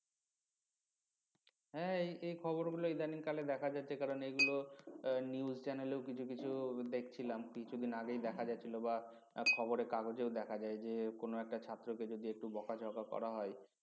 হ্যাঁ এই~ এই খবরগুলো ইদানিংকালে দেখা যাচ্ছে কারণ এগুলো news channel এও কিছু কিছু দেখছিলাম কিছুদিন আগেই দেখা যাচ্ছিল বা খবরে কাগজেও দেখা যায় যে কোন একটা ছাত্রকে যদি একটু বকাঝকা করা হয়